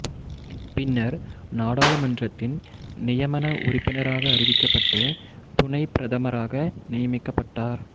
பின்னர் நாடாளுமன்றத்தின் நியமன உறுப்பினராக அறிவிக்கப்பட்டு துணைப் பிரதமராக நியமிக்கப்பட்டார்